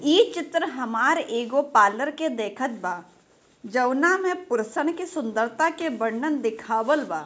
इ चित्र हमार एगो पार्लर के देखत बा जऊना में पुरुषन के सुन्दरता के वर्णन देखावल बा।